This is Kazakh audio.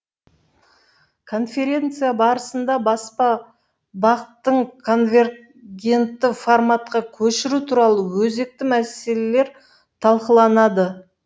конференция барысында баспа бақ тың конвергентті форматқа көшіру туралы өзекті мәселелер талқыланады